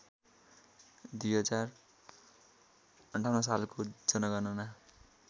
२०५८ सालको जनगणना